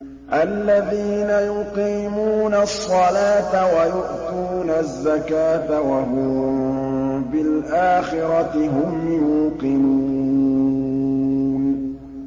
الَّذِينَ يُقِيمُونَ الصَّلَاةَ وَيُؤْتُونَ الزَّكَاةَ وَهُم بِالْآخِرَةِ هُمْ يُوقِنُونَ